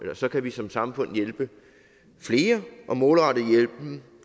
så kan vi som samfund hjælpe flere og målrette hjælpen